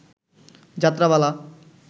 যাত্রা পালা